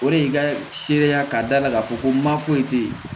O de ye n ka seereya k'a da la k'a fɔ ko ma foyi te yen